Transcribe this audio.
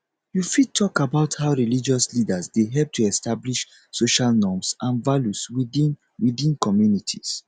you fit talk about how religious leaders dey help to establish social norms and values within within communities